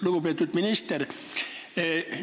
Lugupeetud minister!